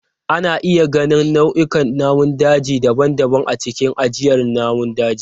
Ana iya ganin nau'ikan namun daji daban-daban a cikin ajiyar namun daji.